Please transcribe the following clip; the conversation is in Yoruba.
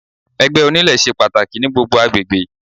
Ẹgbẹ́ onílé ṣe pàtàkì ní gbogbo agbègbè.